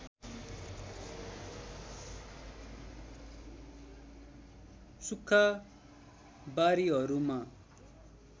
सुक्खा बारीहरूमा